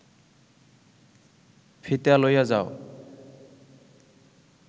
ফিতা লইয়া যাও